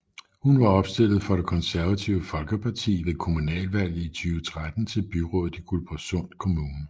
Hun var opstillet for Det Konservative Folkeparti ved kommunalvalget i 2013 til byrådet i Guldborgsund Kommune